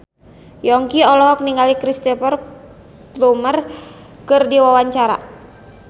Yongki olohok ningali Cristhoper Plumer keur diwawancara